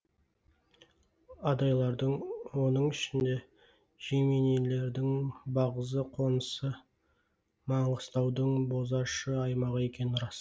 адайлардың оның ішінде жеменейлердің бағзы қонысы маңғыстаудың бозашы аймағы екені рас